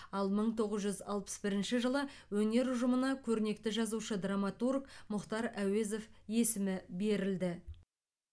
ал мың тоғыз жүз алпыс бірінші жылы өнер ұжымына көрнекті жазушы драматург мұхтар әуезов есімі берілді